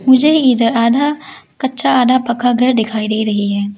मुझे इधर आधा कच्चा आधा पक्का घर दिखाई दे रही है।